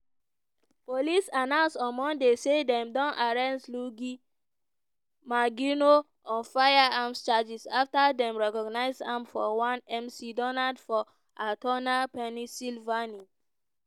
police announce on monday say dem don arrest luigi mangione on firearms charges afta dem recognise am for one mcdonald for altoona pennsylvania.